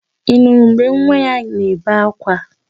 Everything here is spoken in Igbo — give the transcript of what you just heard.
Ị nụrụ mgbe nwa ya na-ebe ákwá?